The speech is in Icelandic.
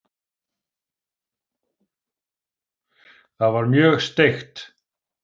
Það var mjög steikt.